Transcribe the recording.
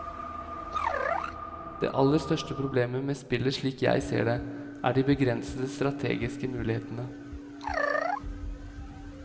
Det aller største problemet med spillet slik jeg ser det, er de begrensede strategiske mulighetene.